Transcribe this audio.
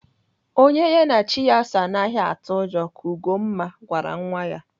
Onye ha na chi ya soo anaghị atụ ụjọ ka Ugomma gwara nwa ya.